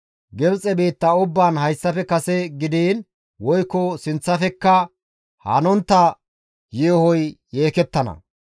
Gibxe biitta ubbaan hayssafe kase gidiin woykko sinththafekka hanontta yeehoy yeekettana.